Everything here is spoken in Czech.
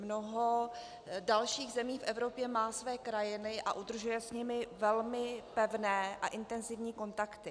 Mnoho dalších zemí v Evropě má své krajany a udržuje s nimi velmi pevné a intenzivní kontakty.